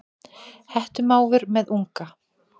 Hettumávur með unga.